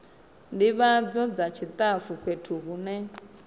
ndivhadzo dza tshitafu fhethu hune